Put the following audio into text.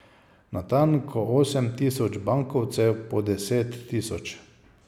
Natanko osem tisoč bankovcev po deset tisoč.